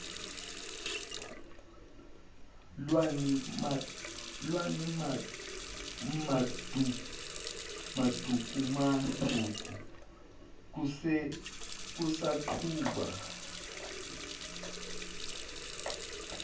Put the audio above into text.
lwani madumakude kusaqhuba